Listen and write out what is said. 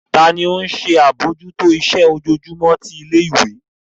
Tani ó ń ṣe àbójútó iṣẹ́ ojoojúmọ́ ti ilé ìwé?